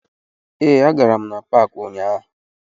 Ee, agara m na paakị ụnyaahụ